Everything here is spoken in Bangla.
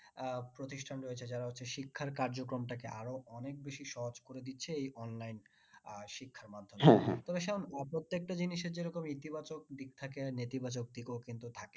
আহ প্রতিষ্ঠান রয়েছে যারা হচ্ছে শিক্ষার কার্যক্রমটাকে আরো অনেক বেশি সহজ করে দিচ্ছে এই online আর তবে সায়ন একটা জিনিসের যেরকম ইতি বাচক দিক থাকে আর নীতি বাচক দিকও কিন্তু থাকে